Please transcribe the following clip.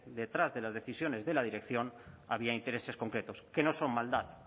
detrás de las decisiones de la dirección había intereses concretos que no son maldad